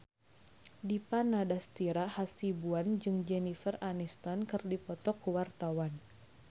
Dipa Nandastyra Hasibuan jeung Jennifer Aniston keur dipoto ku wartawan